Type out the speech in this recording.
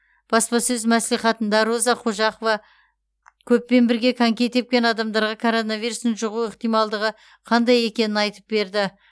баспасөз мәслихатында роза қожапова көппен бірге коньки тепкен адамдарға коронавирустың жұғу ықтималдығы қандай екенін айтып берді